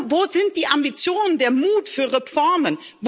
Wo sind die Ambitionen, der Mut für Reformen?